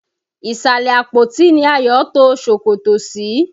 Ìsàlẹ̀ àpótí ni Ayọ̀ to ṣòkòtò sí.